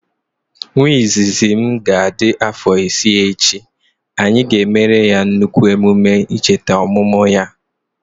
Nwa izizi m ga adị afọ isii echi, anyị ga emere ya nnukwu emume chete ọmụmụ ya